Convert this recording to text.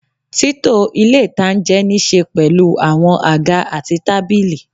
Títò ilé-ìtánjẹ nííse pẹ̀lú àwọn àga àti tábìlì